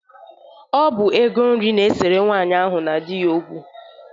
Ọ bụ ego nri na-esere nwaanyị ahụ na di ya okwu.